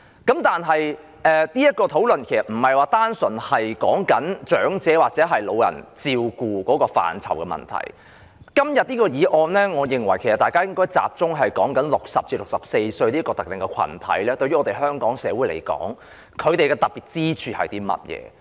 然而，這項討論說的並非純粹是照顧長者的問題，我認為大家討論今天的議案時，應該集中討論60歲至64歲這個特定的群體對香港社會有何特別之處。